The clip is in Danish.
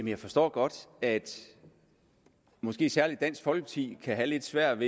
jeg forstår godt at måske særlig dansk folkeparti kan have lidt svært